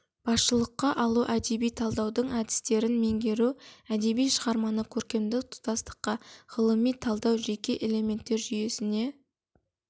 басшылыққа алу әдеби талдаудың әдістерін меңгеру әдеби шығарманы көркемдік тұтастықта ғылыми талдау жеке элементтер жүйесіне